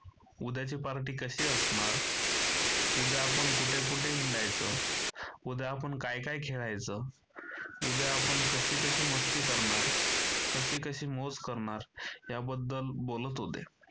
उद्याची पार्टी कशी असणार? उद्या आपण कुठे कुठे हिंडायचं? उद्या आपण काय काय खेळायचं? उद्या आपण कशी कशी मस्ती करणार? कशी कशी मौज करणार याबद्दल बोलत होते.